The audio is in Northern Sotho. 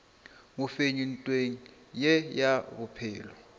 mofenyi ntweng ye ya bophelo